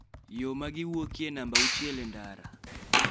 Yo ma giwuokie e namba auchiel e ndara